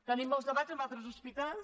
tenim molts de·bats amb altres hospitals